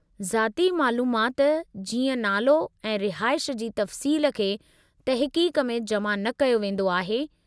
ज़ाती मालूमाति जीअं नालो ऐं रिहाईश जी तफ़्सील खे तहक़ीक़ में जमा न कयो वेंदो आहे।